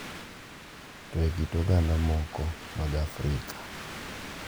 to e kit oganda moko mag Afrika,